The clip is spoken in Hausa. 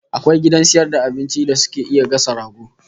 Akwai gidan sayar da abincin da suke iya gasa rago?